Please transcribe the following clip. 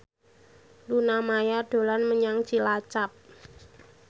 Luna Maya dolan menyang Cilacap